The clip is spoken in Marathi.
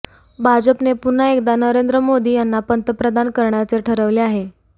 भाजपने पुन्हा एकदा नरेंद्र मोदी यांना पंतप्रधान करण्याचे ठरवले आहे